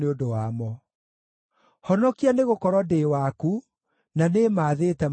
Honokia, nĩgũkorwo ndĩ waku, na nĩĩmaathĩte mawatho maku.